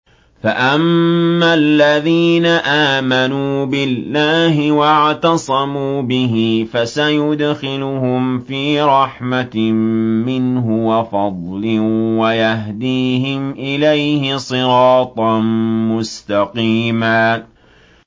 فَأَمَّا الَّذِينَ آمَنُوا بِاللَّهِ وَاعْتَصَمُوا بِهِ فَسَيُدْخِلُهُمْ فِي رَحْمَةٍ مِّنْهُ وَفَضْلٍ وَيَهْدِيهِمْ إِلَيْهِ صِرَاطًا مُّسْتَقِيمًا